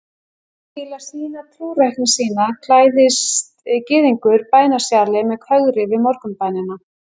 Til að sýna trúrækni sína klæðist gyðingur bænasjali með kögri við morgunbænina.